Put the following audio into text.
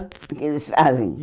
O que eles fazem?